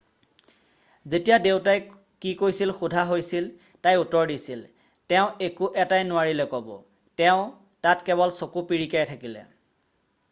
"যেতিয়া দেউতাই কি কৈছিল সোধা হৈছিল তাই উত্তৰ দিছিল "তেওঁ একো এটাই নোৱাৰিলে ক'ব - তেওঁ তাত কেৱল চকু পিৰিকিয়াই থাকিলে'।""